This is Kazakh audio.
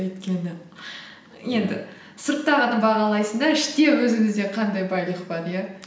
өйткені енді сырттағыны бағалайсың да іште өзімізде қандай байлық бар иә